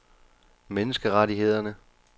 menneskerettighederne